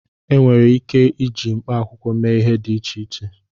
Enwere ike iji mkpaakwụkwọ mee ihe dị iche iche